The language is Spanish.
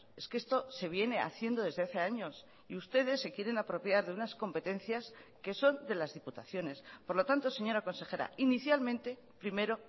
es que esto se viene haciendo desde hace años y ustedes se quieren apropiar de unas competencias que son de las diputaciones por lo tanto señora consejera inicialmente primero